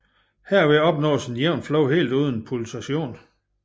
Herved opnås et jævnt flow helt uden pulsation